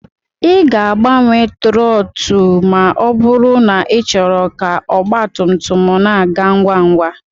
Ị ga-agbanwe trọtụl ma ọ bụrụ na ịchọrọ ka ọgba tum tum na-aga ngwa ngwa